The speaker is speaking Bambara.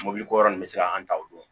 Mɔbilikura nunnu bɛ se k'an ta o don